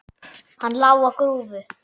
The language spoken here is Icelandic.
Hann lá á grúfu.